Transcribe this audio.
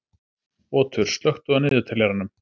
Otur, slökktu á niðurteljaranum.